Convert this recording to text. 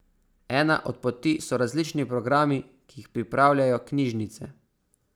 Ena od poti so različni programi, ki jih pripravljajo knjižnice.